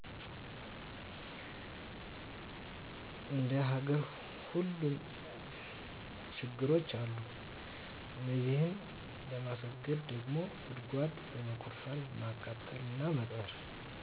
እንደሀገር ሁሉም ችግሮች አሉ እነዚህን ለማስወገድ ደሞ ጉድጉዋድ በመቆፈር ማቃጠል እና መቅበር